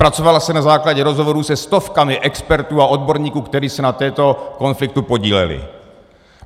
Zpracovala se na základě rozhovorů se stovkami expertů a odborníků, kteří se na tomto konfliktu podíleli.